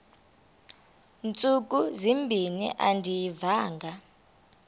ntsuku zimbin andiyivanga